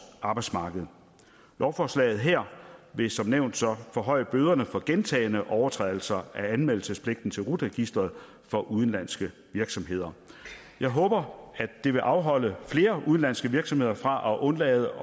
arbejdsmarked lovforslaget her vil som nævnt så forhøje bøderne for gentagne overtrædelser af anmeldelsespligten til rut registeret for udenlandske virksomheder jeg håber at det vil afholde flere udenlandske virksomheder fra at undlade